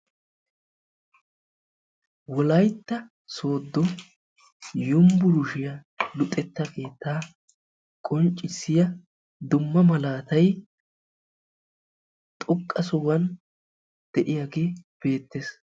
Wolaytta sodo yunvurshshiyaa luxetta keetta qonccissiya dumma maalatay xooqqa sohuwan de'iyagee betees.